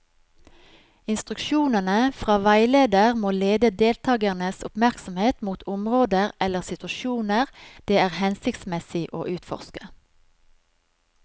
Instruksjonene fra veileder må lede deltakernes oppmerksomhet mot områder eller situasjoner det er hensiktsmessig å utforske.